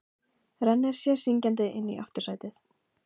Rennir sér syngjandi inn í aftursætið.